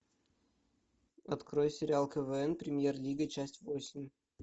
открой сериал квн премьер лига часть восемь